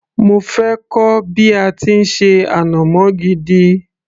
mo fẹ́ kọ́ bí a ti ń ṣe ànàmọ́ gidi